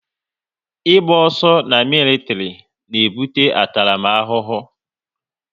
Ị gba ọsọ na militiri na ebute ntaramahụhụ